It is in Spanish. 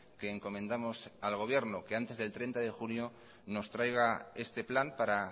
que encomendamos al gobierno que antes del treinta de junio nos traiga este plan para